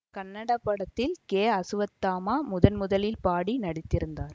கன்னட படத்தில் கே அசுவத்தாமா முதன் முதலில் பாடி நடித்திருந்தார்